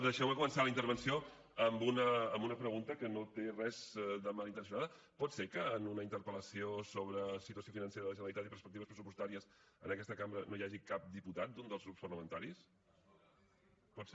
deixeume començar la intervenció amb una pregunta que no té res de malintencionada pot ser que en una interpel·lació sobre situació financera de la generalitat i perspectives pressupostàries en aquesta cambra no hi hagi cap diputat d’un dels grups parlamentaris pot ser d’acord